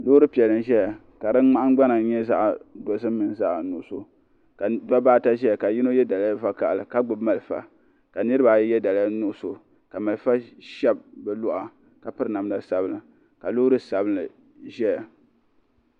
lori piɛli n ʒɛya ka di nahingbana nyɛ zaɣ' piɛli ni zaɣ' nuɣisu ka da baata ʒɛya ka yino yɛ daliya vakahili ka gbabi mariƒɔ ka niribaayi yɛ daliya nuɣisu ka maliƒɔ shɛbi bɛ luɣili ka pɛri namida sabila ka lori sabinli ʒɛya